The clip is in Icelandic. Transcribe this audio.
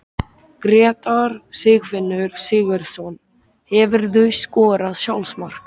Grétar Sigfinnur Sigurðsson Hefurðu skorað sjálfsmark?